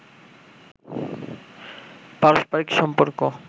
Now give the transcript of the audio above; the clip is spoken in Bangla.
পারস্পরিক সম্পর্ক